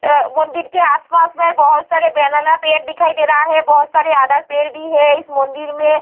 आ मंदिर के आसपास में बहुत सारे बनाना पेड़ दिखाई दे रहा है बहुत सारी अदर पेड़ भी है इस मंदिर में।